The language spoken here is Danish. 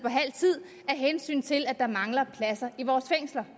hensyn til at der mangler pladser i vores fængsler